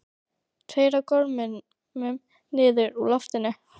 Tveir á gormum niður úr loftinu.